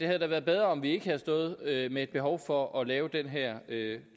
havde været bedre om vi ikke havde stået med et behov for at lave den her